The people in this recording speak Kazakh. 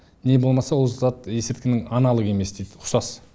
не болмаса ол зат есірткінің аналогы емес дейді ұқсас